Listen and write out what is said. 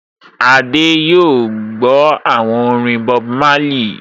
Adé yóò gbọ́ àwọn orin Bob Marley